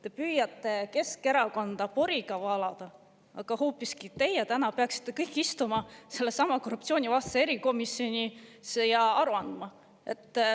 Te püüate Keskerakonda poriga üle valada, aga hoopiski teie peaksite täna kõik istuma sellessamas korruptsioonivastases erikomisjonis ja aru andma.